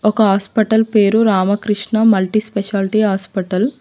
ఒక ఆస్పటల్ పేరు Ramakrishna multi speciality hospital .